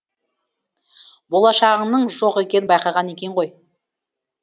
болашағыңның жоқ екенін байқаған екен ғой